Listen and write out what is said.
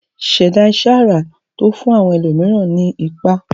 ṣẹ̀dá iṣẹ́ ara tó kún àwọn ẹlòmíràn nípá